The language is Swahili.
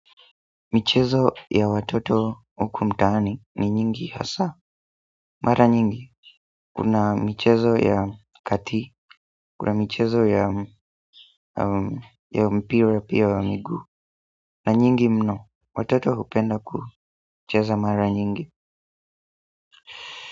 Michezo ya watoto hukumtaani ni nyingi hasa. Mara nyingi. Kuna michezo ya kati. Kuna michezo ya mpira pia wa miguu. Na nyingi mno. Watoto hupenda kucheza mara nyingi.